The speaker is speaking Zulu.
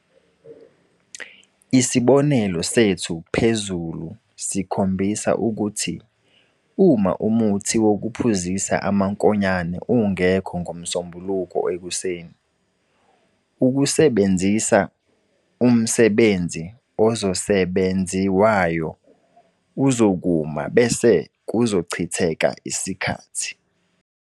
Isibonelo sethu phezulu sikhombisa ukuthi uma umuthi wokuphuzisa amankonyane ungekho ngoMsombuluko ekuseni, ukusebenzisa umsebenzi ozosebenziwayo uzokuma bese kuzochitheka isikhathi.